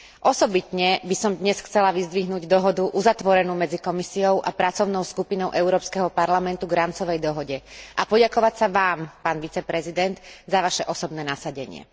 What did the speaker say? Osobitne by som dnes chcela vyzdvihnúť dohodu uzatvorenú medzi Komisiou a pracovnou skupinou Európskeho parlamentu k rámcovej dohode a poďakovať sa Vám, pán viceprezident, za Vaše osobné nasadenie.